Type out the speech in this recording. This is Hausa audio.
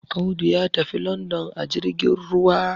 Audu ya tafi London ajirgin ruwa